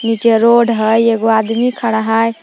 जे रोड हइ एगो आदमी खड़ा हई ।